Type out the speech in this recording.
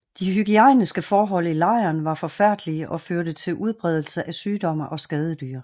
De hygiejniske forhold i lejren var forfærdelige og førte til udbredelse af sygdomme og skadedyr